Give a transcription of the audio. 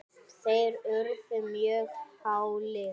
þeir urðu mjög hálir.